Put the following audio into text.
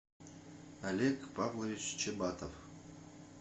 олег павлович чабатов